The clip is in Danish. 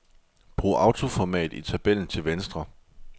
Brug autoformat i tabellen til venstre.